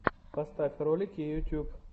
поставь ролики ютуб